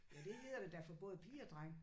Ja det hedder det da for både piger og drenge